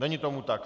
Není tomu tak.